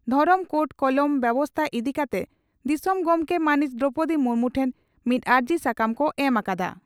ᱫᱷᱚᱨᱚᱢ ᱠᱳᱰ ᱠᱚᱞᱚᱢ ᱵᱮᱵᱚᱥᱛᱟ ᱤᱫᱤ ᱠᱟᱛᱮ ᱫᱤᱥᱚᱢ ᱜᱚᱢᱠᱮ ᱢᱟᱹᱱᱤᱡ ᱫᱨᱚᱣᱯᱚᱫᱤ ᱢᱩᱨᱢᱩ ᱴᱷᱮᱱ ᱢᱤᱫ ᱟᱹᱨᱡᱤ ᱥᱟᱠᱟᱢ ᱠᱚ ᱮᱢ ᱟᱠᱟᱫᱟ ᱾